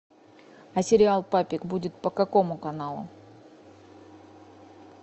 а сериал папик будет по какому каналу